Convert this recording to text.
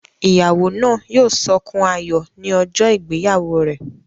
Ìyàwó náà yóò sọkún ayọ̀ ní ọjọ́ ìgbéyàwó rẹ̀